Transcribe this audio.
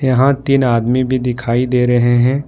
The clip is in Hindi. यहां तीन आदमी भी दिखाई दे रहे हैं।